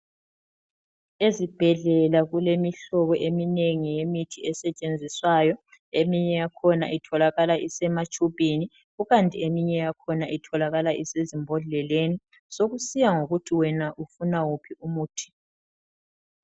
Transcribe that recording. Ezibhedlela kulemihlobo eminengi yemithi esetshenziswayo eminye yakhona itholakala ise matshubhini kukanti eminye yakhona itholakala isezimbodleleni sokusiya ngokuthi wena ufuna wuphi umuthi.